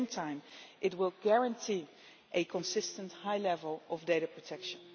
At the same time, it will guarantee a consistently high level of data protection.